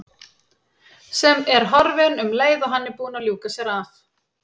Sem er horfin um leið og hann er búinn að ljúka sér af.